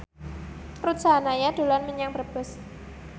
Ruth Sahanaya dolan menyang Brebes